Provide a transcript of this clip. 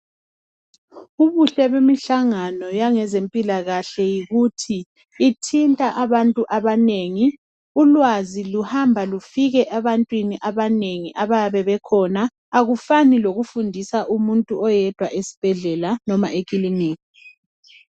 Ubuhle bemihlangano yangezempilakahle yikuthi ithinta abantu abanengi. Ulwazi luhamba lufike ebantwini abanengi ababayabe bekhona. Akufani lokufundisa umuntu oyedwa esibhedlela, loba ekilinika.